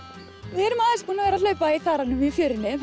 við erum aðeins búin að vera að hlaupa í þaranum í fjörunni